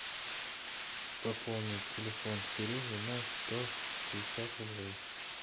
пополнить телефон сереги на сто пятьдесят рублей